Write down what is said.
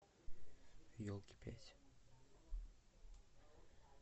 елки пять